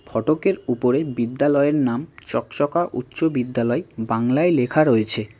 ফটকের উপরে বিদ্যালয়ের নাম চকচকা উচ্চ বিদ্যালয় বাংলায় লেখা রয়েছে।